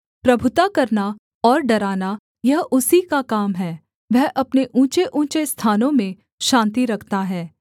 प्रभुता करना और डराना यह उसी का काम है वह अपने ऊँचेऊँचे स्थानों में शान्ति रखता है